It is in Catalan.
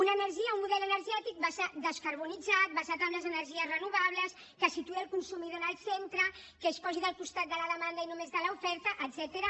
una energia un model energètic descarbonitzat basat en les energies renovables que situï el consumidor en el centre que es posi del costat de la demanda i no només de l’oferta etcètera